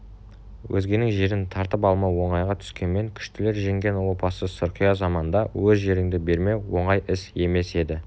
өзгенің жерін тартып алмау оңайға түскенмен күштілер жеңген опасыз сұрқия заманда өз жеріңді бермеу оңай іс емес еді